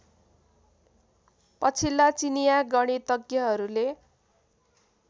पछिल्ला चिनिया गणितग्यहरुले